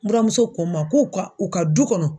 Buramuso ko n ma k'u ka, u ka du kɔnɔ